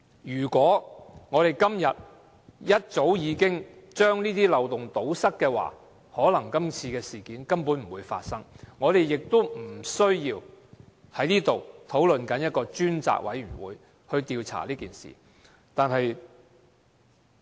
如果早已把這些漏洞堵塞，可能今次事件根本不會發生，我們今天也不需要在這裏討論成立一個專責委員會調查這件事。